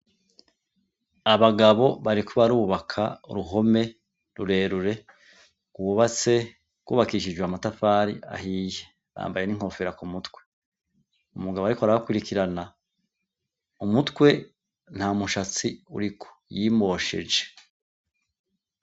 Abagabo barikubarubaka ruhome rurerure gubatse gwubakishijwe amatafari ahiye ambaye n'inkofera ku mutwe umugabo, ariko arabakwirikirana umutwe nta mushatsi uriko yimosheje.